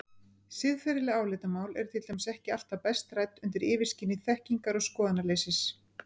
Siðferðileg álitamál eru til dæmis ekki alltaf best rædd undir yfirskyni þekkingar- og skoðanaleysis.